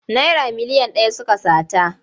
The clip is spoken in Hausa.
Naira miliyan ɗaya suka sata.